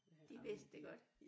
De vidste det godt